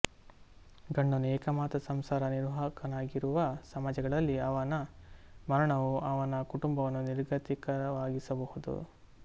ಗಂಡನು ಏಕಮಾತ್ರ ಸಂಸಾರ ನಿರ್ವಾಹಕನಾಗಿರುವ ಸಮಾಜಗಳಲ್ಲಿ ಅವನ ಮರಣವು ಅವನ ಕುಟುಂಬವನ್ನು ನಿರ್ಗತಿಕವಾಗಿಸಬಹುದು